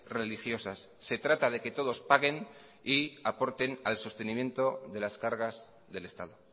religiosas se trata de que todos paguen y aporten al sostenimiento de las cargas del estado